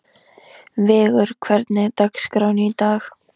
Vigur, hvernig er dagskráin í dag?